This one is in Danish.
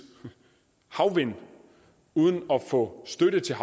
havvindmøller uden at få støtte til